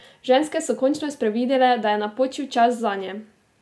Ženske so končno sprevidele, da je napočil čas zanje!